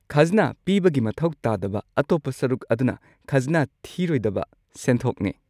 ꯈꯖꯅꯥ ꯄꯤꯕꯒꯤ ꯃꯊꯧ ꯇꯥꯗꯕ ꯑꯇꯣꯞꯄ ꯁꯔꯨꯛ ꯑꯗꯨꯅ ꯈꯖꯅꯥ ꯊꯤꯔꯣꯏꯗꯕ ꯁꯦꯟꯊꯣꯛꯅꯦ꯫